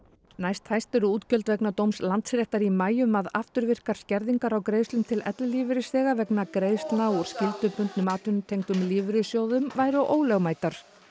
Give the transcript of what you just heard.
næsthæst eru útgjöld vegna dóms Landsréttar í maí um að afturvirkar skerðingar á greiðslum til ellilífeyrisþega vegna greiðslna úr skyldubundnum atvinnutengdum lífeyrissjóðum væru ólögmætar